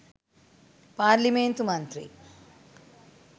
පාර්ලිමේන්තු මන්ත්‍රී